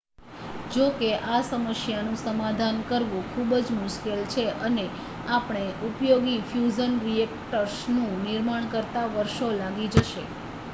જોકે આ સમસ્યાનું સમાધાન કરવું ખૂબ જ મુશ્કેલ છે અને આપણે ઉપયોગી ફ્યુઝન રિએક્ટર્સ નું નિર્માણ કરતા વર્ષો લાગી જશે